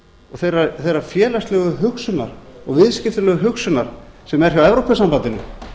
og þeirrar félagslegu hugsunar og viðskiptalegu hugsunar sem er hjá evrópusambandinu